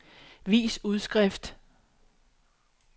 vis udskrift